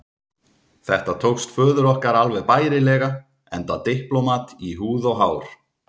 Þetta tókst föður okkar alveg bærilega, enda diplómat í húð og hár.